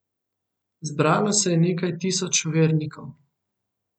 Zbralo se je nekaj tisoč vernikov.